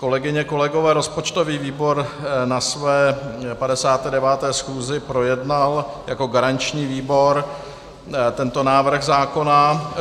Kolegyně, kolegové, rozpočtový výbor na své 59. schůzi projednal jako garanční výbor tento návrh zákona.